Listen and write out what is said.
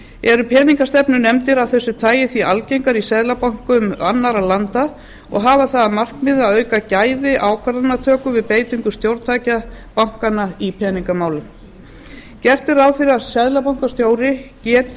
eru peningastefnunefndir af þessu tagi því algengar í seðlabönkum annarra landa og hafa það að markmiði að auka gæði ákvarðanatöku við beitingu stjórntækja bankanna í peningamálum gert er ráð fyrir að seðlabankastjóri